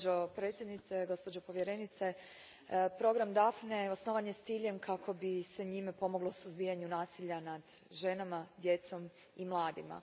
Gospođo predsjednice, gospođo povjerenice, program Daphne osnovan je s ciljem kako bi se njime pomoglo u suzbijanju nasilja nad ženama, djecom i mladima.